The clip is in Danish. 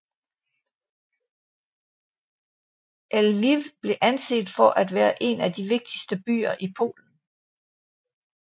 Lviv blev anset for at være en af de vigtigste byer i Polen